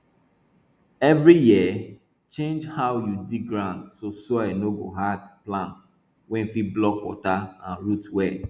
every year change how you dig ground so soil no go hard plant wey fit block water and root well